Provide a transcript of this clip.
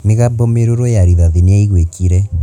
mĩgambo mĩrũrũ ya rĩthati niyaiguĩkire